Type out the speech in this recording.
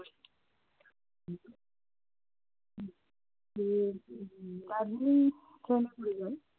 উম Darjeeling train এ করে